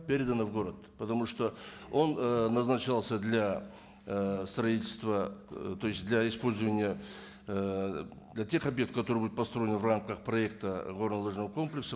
передана в город потому что он ы назначался для ыыы строительства э то есть для использования ыыы для тех объектов которые будут построены в рамках проекта горнолыжного комплекса